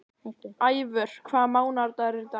Ævör, hvaða mánaðardagur er í dag?